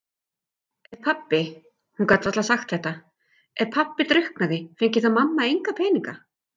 Ef pabbi- hún gat varla sagt þetta- ef pabbi drukknaði, fengi mamma þá enga peninga?